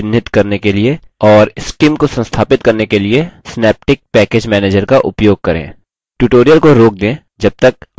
यदि नहीं तो निम्न package को चिन्हित करने के लिए और scim को संस्थापित करने के लिए synaptic package manager का उपयोग करें